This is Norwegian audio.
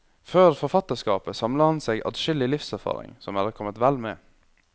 Før forfatterskapet samlet han seg adskillig livserfaring, som er kommet vel med.